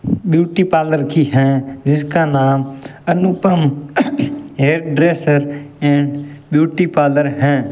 Beauty parlour की है जिसका नाम Anupam hair dresser and beauty parlour है।